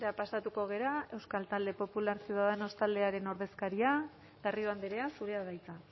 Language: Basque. pasatuko gara euskal talde popular ciudadanos taldearen ordezkaria garrido andrea zurea da hitza